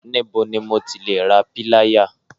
Níbo ni mo ti lè ra píláyà?